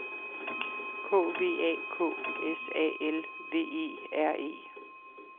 K V A K S A L V E R E